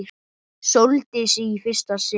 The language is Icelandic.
Sóldísi í fyrsta sinn.